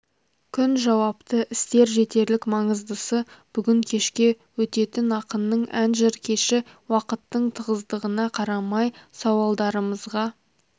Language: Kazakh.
күн жауапты істер жетерлік маңыздысы бүгін кешке өтетін ақынның ән-жыр кеші уақыттың тығыздығына қарамай сауалдарымызға